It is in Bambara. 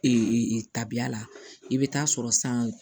tabiya la i bɛ taa sɔrɔ san